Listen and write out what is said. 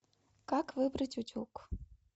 как выбрать утюг